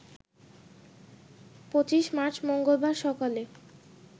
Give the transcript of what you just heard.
২৫ March মঙ্গলবার সকালে